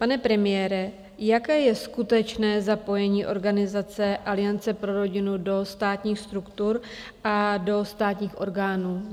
Pane premiére, jaké je skutečné zapojení organizace Aliance pro rodinu do státních struktur a do státních orgánů?